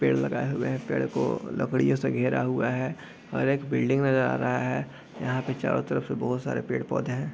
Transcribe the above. पेड़ लगाये हुए हैं पेड़ को लकड़ियों से घेरा हुआ है और एक बिल्डिंग नज़र आ रहा है यहाँ पे चारो तरफ से बहुत सारे पेड़-पौधे हैं।